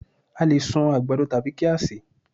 A lè sun àgbàdo tàbí kí á sè é